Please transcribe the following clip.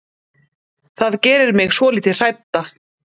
Það gerir mig svolítið hrædda.